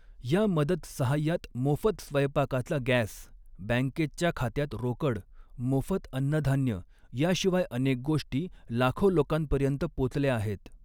या मदत सहाय्यात मोफत स्वैपाकाचा गँस, बँकेच्या खात्यात रोकड, मोफत अन्नधान्य, याशिवाय अनेक गोष्टी, लाखो लोकांपर्यंत पोचल्या आहेत.